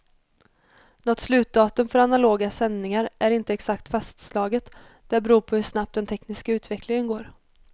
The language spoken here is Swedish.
Något slutdatum för analoga sändningar är inte exakt fastslaget, det beror på hur snabbt den tekniska utvecklingen går.